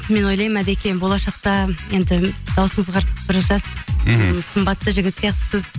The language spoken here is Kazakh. мен ойлаймын әдекем болашақта енді дауысыңыз қарасақ бір жас мхм сымбатты жігіт сияқтысыз